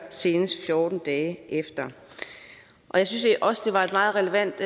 senest fjorten dage efter jeg synes også det var et meget relevant